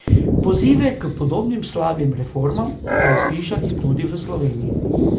Pozive k podobnim slabim reformam pa je slišati tudi v Sloveniji.